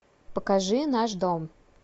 покажи наш дом